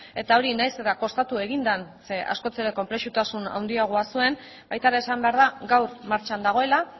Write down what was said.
eta hori nahiz eta kostatu egin den zeren askoz ere konplexutasun handiagoa zuen baita ere esan behar da gaur martxan dagoela